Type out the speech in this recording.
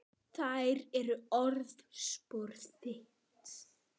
Þær eru orðspor þitt.